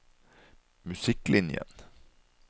musikklinjen